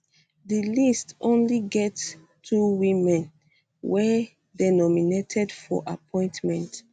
di list um only get two women wey dey nominated for appointment